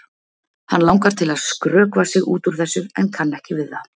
Hann langar til að skrökva sig út úr þessu en kann ekki við það.